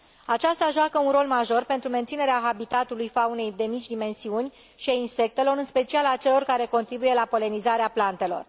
Aceasta joacă un rol major pentru menținerea habitatului faunei de mici dimensiuni și a insectelor, în special a celor care contribuie la polenizarea plantelor.